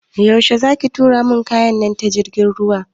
Yaushe za ki tura min kaya na ta jirgin ruwa?